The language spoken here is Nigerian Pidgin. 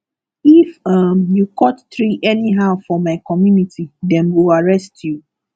if um you cut tree anyhow for my community dem go arrest you